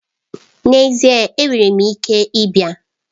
N'ezie! Enwere m ike ịbịa.